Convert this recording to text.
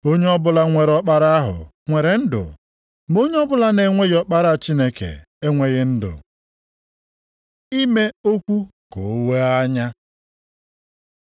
Onye ọbụla nwere Ọkpara ahụ nwere ndụ ma onye ọbụla na-enweghị Ọkpara Chineke enweghị ndụ. Ime okwu ka o wee anya